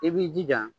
I b'i jija